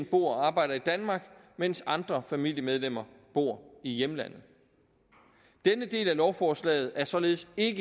bor og arbejder i danmark mens andre familiemedlemmer bor i hjemlandet denne del af lovforslaget er således ikke